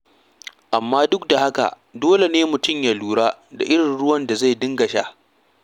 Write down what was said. Amma duk da haka dole mutum ya lura da irin ruwan da zai dinga sha.